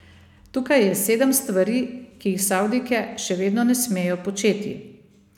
Tukaj je sedem stvari, ki jih Savdijke še vedno ne smejo početi.